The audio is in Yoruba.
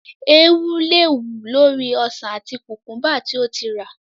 Eewú le wù lórí ọsàn àti kùkúḿbà tí ó ti rà.